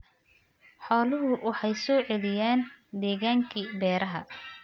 Xooluhu waxay soo celiyaan deegaankii beeraha.